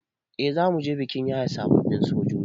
Eh zamuje bikin yaye sababbin sojoji